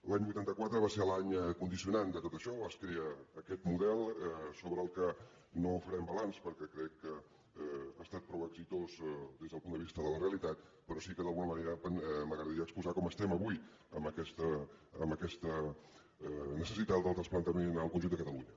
l’any vuitanta quatre va ser l’any condicionant de tot això es crea aquest model sobre el qual no farem balanç perquè crec que ha estat prou exitós des del punt de vista de la realitat però sí que d’alguna manera m’agradaria exposar com estem avui amb aquesta necessitat del trasplantament al conjunt de catalunya